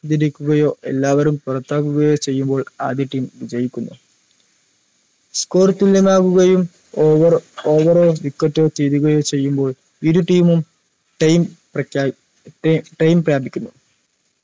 തിരിക്കുകയോ എല്ലാവരും പൊറത്താകുകയോ ചെയ്യുമ്പോൾ ആദ്യ team വിജയിക്കുന്നു score തുല്യമാകുകയും over ovar ഓ wicket ഓ തീരുകയും ചെയ്യുമ്പോൾ ഇരു team ഉം time പ്രഖ്യാപി time പ്രാപിക്കുന്നു